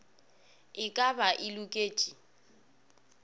e ka ba e loketše